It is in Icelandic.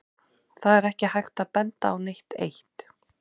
Það er ekki hægt að benda á neitt eitt.